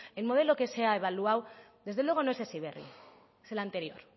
el modelo que se ha evaluado desde luego no es heziberri es el anterior